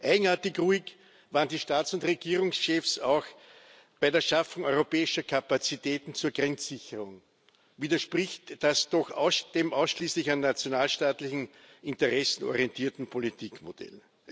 Eigenartig ruhig waren die Staats und Regierungschefs auch bei der Schaffung europäischer Kapazitäten zur Grenzsicherung, widerspricht das doch dem ausschließlich an nationalstaatlichen Interessen orientierten Politikmodell.